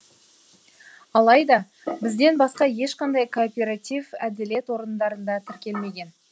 алайда бізден басқа ешқандай кооператив әділет орындарында тіркелмеген